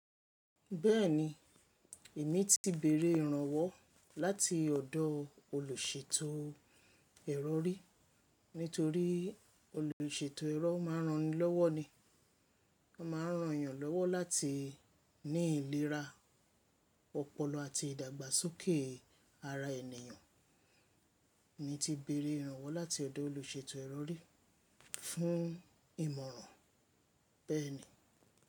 Bẹ́ẹ̀ni, èmi ti bẹ̀ẹ̀rẹ̀ ìrànwọ́ láti ọ̀dọ̀ olùṣètò ẹ̀rọ rí. Nítorí olùṣètò ẹ̀rọ máa ń ran ni lọ́wọ́ ni. Wọ́n máa ń ran èeyàn lọ́wọ́ láti ní ìlera ọpọlọ àti ìdàgbàsókè ara ènìyàn. Emi ti bẹ̀rẹ̀ ìrànwọ́ láti ọ̀dọ̀ olùṣètò ẹ̀rọ rí fún ìmọ̀ràn, bẹ́ẹ̀ni.